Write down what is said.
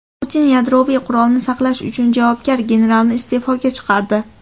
Putin yadroviy qurolni saqlash uchun javobgar generalni iste’foga chiqardi.